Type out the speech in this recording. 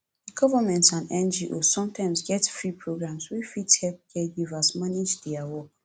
government and ngos sometimes get free programs wey fit help caregivers manage their work